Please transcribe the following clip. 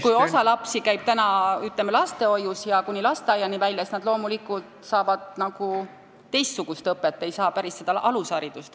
Kui sa mõtled seda, et osa lapsi käib lastehoius kuni koolini välja, siis nad loomulikult saavad teistsugust õpet, ei saa päris samasugust alusharidust kui lasteaialapsed.